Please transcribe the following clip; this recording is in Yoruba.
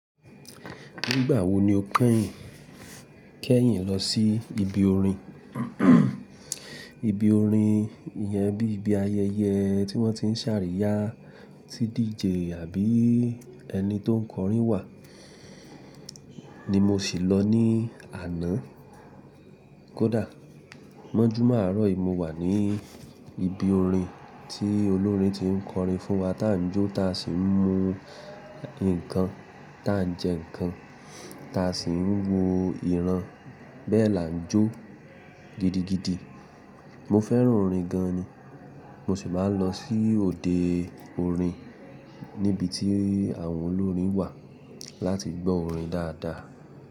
Nígbà wo ni o kẹ́yìn kẹ́yìn lọ sí ibi orin? Ibi orin, ìyẹn bí ibi ayẹyẹ tí wọ́n ti ń ṣàríyá tí DJ àbí ẹni tó ń kọrin wà ní mo sì lọ ní àná. Kódà mọ́júmá àárọ̀ yìí mo wà ní ibi orin tí olórin ti ń kọrin fún wa tá n jó tá sì ń mu ǹkan, tá n jẹ ǹkan, tá sì ń wo ìran. Bẹ́ẹ̀ la n jó gidigidi. Mo fẹ́ràn orin gan ni. Mo sì máa ń lọ sí òde orin níbi tí àwọn olórin wà láti gbọ́ orin dáadáa.